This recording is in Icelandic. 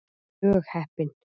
Mjög heppin.